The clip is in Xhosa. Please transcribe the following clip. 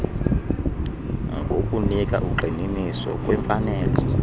ngokunika ugxininiso kwimfanelo